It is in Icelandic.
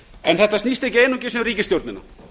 en þetta snýst ekki einungis um ríkisstjórnina